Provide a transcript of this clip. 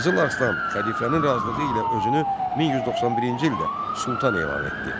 Qızıl Arslan xəlifənin razılığı ilə özünü 1191-ci ildə Sultan elan etdi.